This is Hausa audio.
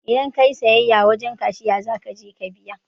Idan kayi siyayya wajen cashiya zakaje ka biya